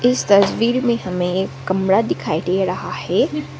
इस तस्वीर में हमें एक कमरा दिखाई दे रहा है।